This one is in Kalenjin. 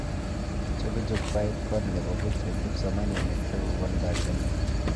Chobe jukwait koe nebo boch eng kipsomanink sikokon banganet